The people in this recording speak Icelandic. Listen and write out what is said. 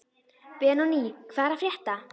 Benóní, hvað er að frétta?